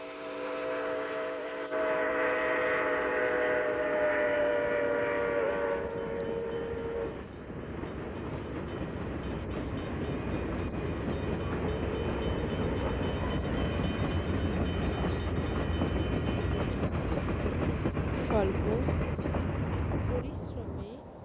স্বল্প পরিশ্রমে